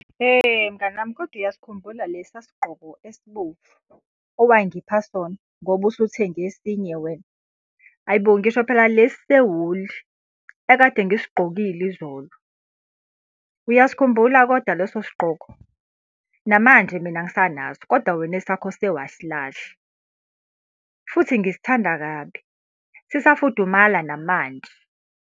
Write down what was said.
Mngani wami kodwa uyasikhumbula lesiya sigqoko esibomvu, owangipha sona ngoba usuthenge esinye wena? Hhayi bo! Ngisho phela lesi sewuli ekade ngisigqokile izolo. Uyasikhumbula kodwa leso sigqoko? Namanje mina ngisanaso kodwa wena esakho sewasilahla. Futhi ngisithanda kabi. Sisafudumala namanje.